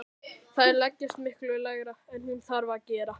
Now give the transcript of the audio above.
Þær leggjast miklu lægra en hún þarf að gera.